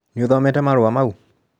Nĩũthomete marũa mau?